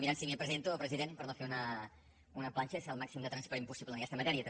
mirant si hi havia presidenta o president per no fer una planxa i ser el màxim de transparent possible en aquesta matèria també